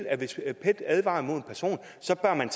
at hvis pet advarer mod en person så bør man